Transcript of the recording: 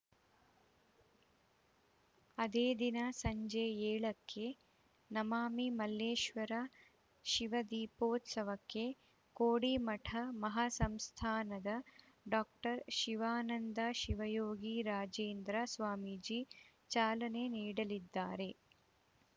ಅದೇ ದಿನ ಸಂಜೆ ಎಳಕ್ಕೆ ನಮಾಮಿ ಮಲ್ಲೇಶ್ವರ ಶಿವದೀಪೋತ್ಸವಕ್ಕೆ ಕೋಡಿಮಠ ಮಹಸಂಸ್ಥಾನದ ಡಾಕ್ಟರ್ ಶಿವಾನಂದ ಶಿವಯೋಗಿ ರಾಜೇಂದ್ರ ಸ್ವಾಮೀಜಿ ಚಾಲನೆ ನೀಡಲಿದ್ದಾರೆ